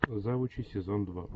завучи сезон два